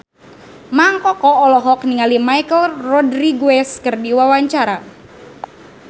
Mang Koko olohok ningali Michelle Rodriguez keur diwawancara